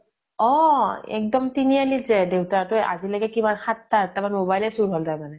অ । তিনি আলি ত যায় । দেউতা তোৱে আজিলৈকে কিমান সাত টা আঠ টা মান mobile এ চোৰ হʼল তাৰ মানে ।